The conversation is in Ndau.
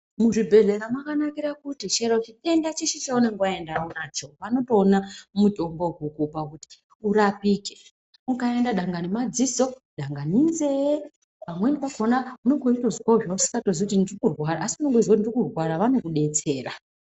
Muzvibhedhlera makanakire kuti chero chitenda cheshe chaunenge waenda unacho vanotoona mutombo wekukupa kuti urapike. Ukaenda dangani madziso, dangani inzee pamweni pakhona unenge uchitozwa kuti uri kurwara asi unenge uchitoziya kuti uri kurwara vanokudetsera.